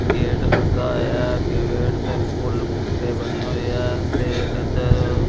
gate ਲੱਗਾ ਹੋਇਆ ਅੱਗੇ ਗੇਟ ਤੇ ਫੁੱਲ ਬੂਟੇ ਬਣੇ ਹੋਏ ਆ ਤੇ ਇੱਧਰ--